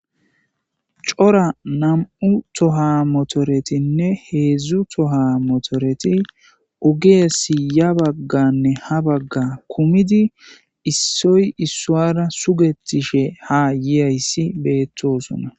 Coora namu7u toha motoretin hezu toha motoreti ogeyape yabaganne habagan kumidi issoy isara suqetishe ha yesi betosona